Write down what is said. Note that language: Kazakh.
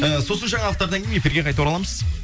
ы сосын жаңалықтардан кейін эфирге қайта ораламыз